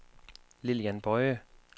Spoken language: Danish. Lilian Boye